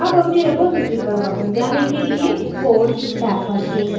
tab अपनी repository पर वापस जाने के लिए code टैब पर click करें